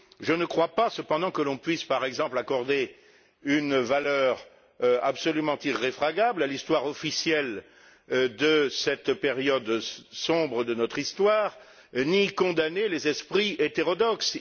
Je ne crois pas, cependant, que l'on puisse, par exemple, accorder une valeur absolument irréfragable à l'histoire officielle de cette période sombre de notre histoire, ni condamner les esprits hétérodoxes.